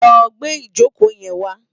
Lò gbé ijókó yèn wá